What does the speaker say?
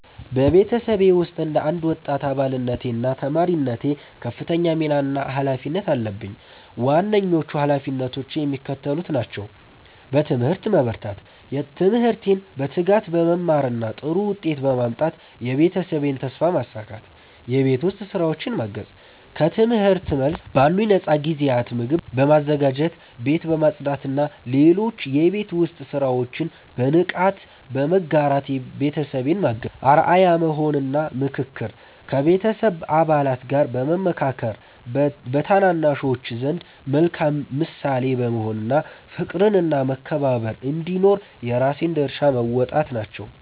በቤተሰቤ ውስጥ እንደ አንድ ወጣት አባልነቴና ተማሪነቴ ከፍተኛ ሚና እና ኃላፊነት አለብኝ። ዋነኞቹ ኃላፊነቶቼ የሚከተሉት ናቸው፦ በትምህርት መበርታት፦ ትምህርቴን በትጋት በመማርና ጥሩ ውጤት በማምጣት የቤተሰቤን ተስፋ ማሳካት። የቤት ውስጥ ሥራዎችን ማገዝ፦ ከትምህርት መልስ ባሉኝ ነፃ ጊዜያት ምግብ በማዘጋጀት፣ ቤት በማጽዳትና ሌሎች የቤት ውስጥ ሥራዎችን በንቃት በመጋራት ቤተሰቤን ማገዝ። አርአያ መሆን እና ምክክር፦ ከቤተሰብ አባላት ጋር በመመካከር፣ በታናናሾች ዘንድ መልካም ምሳሌ በመሆን እና ፍቅርና መከባበር እንዲኖር የራሴን ድርሻ መወጣት ናቸው።